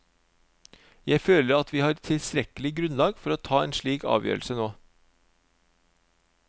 Jeg føler at vi har tilstrekkelig grunnlag for å ta en slik avgjørelse nå.